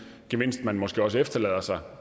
gevinst man måske også efterlader sig